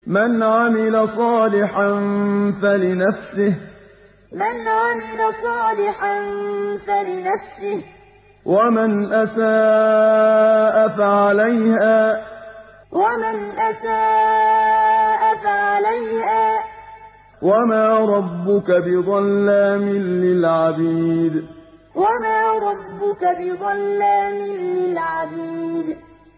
مَّنْ عَمِلَ صَالِحًا فَلِنَفْسِهِ ۖ وَمَنْ أَسَاءَ فَعَلَيْهَا ۗ وَمَا رَبُّكَ بِظَلَّامٍ لِّلْعَبِيدِ مَّنْ عَمِلَ صَالِحًا فَلِنَفْسِهِ ۖ وَمَنْ أَسَاءَ فَعَلَيْهَا ۗ وَمَا رَبُّكَ بِظَلَّامٍ لِّلْعَبِيدِ